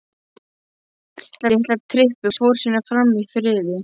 Litla trippið fór sínu fram í friði.